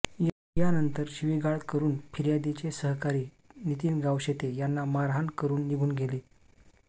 यानंतर शिवीगाळ करुन फिर्यादीचे सहकारी नितीन गावशेते यांना मारहाण करुन निघुन गेले